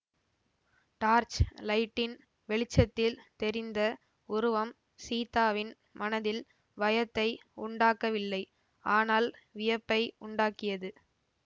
torch லைட்டின் வெளிச்சத்தில் தெரிந்த உருவம் சீதாவின் மனதில் பயத்தை உண்டாக்கவில்லை ஆனால் வியப்பை உண்டாக்கியது